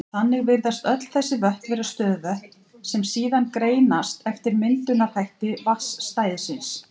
Þannig virðast öll þessi vötn vera stöðuvötn, sem síðan greinast eftir myndunarhætti vatnsstæðisins.